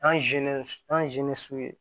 An an